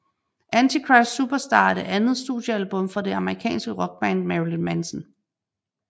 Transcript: Antichrist Superstar er det andet studiealbum fra den amerikanske rockband Marilyn Manson